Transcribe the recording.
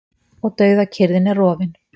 Og dauðakyrrðin er rofin.